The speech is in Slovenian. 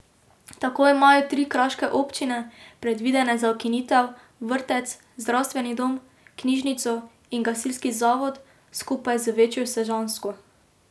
Tako imajo tri kraške občine, predvidene za ukinitev, vrtec, zdravstveni dom, knjižnico in gasilski zavod skupaj z večjo sežansko.